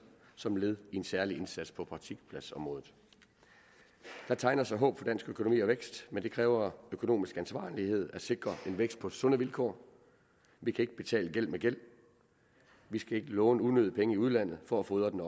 som led i en særlig indsats på praktikpladsområdet der tegner sig håb for dansk økonomi og vækst men det kræver økonomisk ansvarlighed at sikre en vækst på sunde vilkår vi kan ikke betale gæld med gæld vi skal ikke låne unødige penge i udlandet for at fodre den